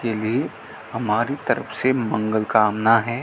के लिए हमारी तरफ से मंगल कामना है।